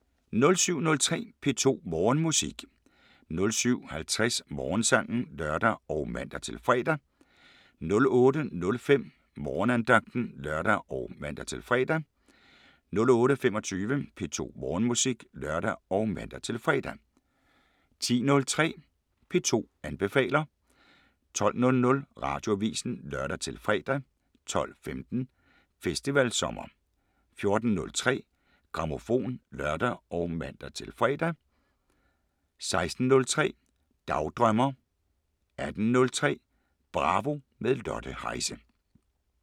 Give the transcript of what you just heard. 07:03: P2 Morgenmusik 07:50: Morgensangen (lør og man-fre) 08:05: Morgenandagten (lør og man-fre) 08:25: P2 Morgenmusik (lør og man-fre) 10:03: P2 anbefaler 12:00: Radioavisen (lør-fre) 12:15: Festivalsommer 14:03: Grammofon (lør og man-fre) 16:03: Dagdrømmer 18:03: Bravo – med Lotte Heise